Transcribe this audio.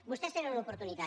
vostès tenen una oportunitat